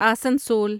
Asansol